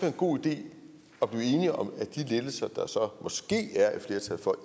en god idé at blive enige om at de lettelser der så måske er et flertal for